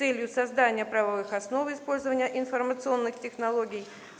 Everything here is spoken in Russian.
целью создания правовых основ использования информационных технологий